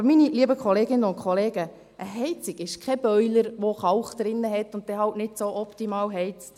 Aber, meine lieben Kolleginnen und Kollegen, eine Heizung ist kein Boiler, der Kalk enthält und dann halt nicht so optimal heizt.